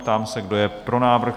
Ptám se, kdo je pro návrh?